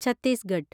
Chhattisgarh